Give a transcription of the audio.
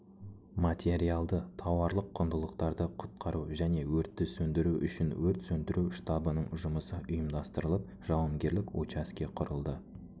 материалды-тауарлық құндылықтарды құтқару және өртті сөндіру үшін өрт сөндіру штабының жұмысы ұйымдастырылып жауынгерлік учаске құрылды